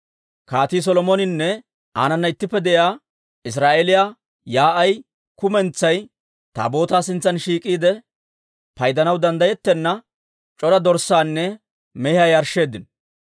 Kaatii Solomoninne aanana ittippe de'iyaa Israa'eeliyaa yaa'ay kumentsay Taabootaa sintsan shiik'iide, paydanaw danddayettenna, c'ora dorssaanne mehiyaa yarshsheeddino.